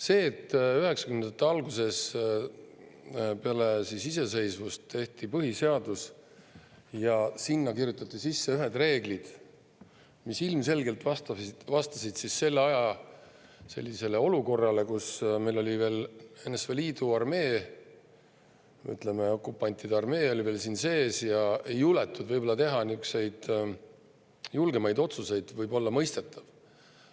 See, et üheksakümnendate alguses, peale iseseisvumist, tehti põhiseadus ja sinna kirjutati sisse ühed reeglid, mis ilmselgelt vastasid selle aja olukorrale, kus meil oli veel NSV Liidu armee, ütleme, okupantide armee siin sees ja ei juletud võib-olla teha niisuguseid julgemaid otsuseid, võis olla mõistetav.